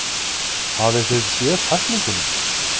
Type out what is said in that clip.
Hafið þið séð tæklinguna?